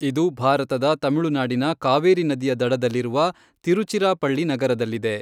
ಇದು ಭಾರತದ ತಮಿಳುನಾಡಿನ ಕಾವೇರಿ ನದಿಯ ದಡದಲ್ಲಿರುವ ತಿರುಚಿರಾಪಳ್ಳಿ ನಗರದಲ್ಲಿದೆ.